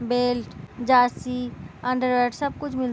belt jersey underwear सब कुछ मिल --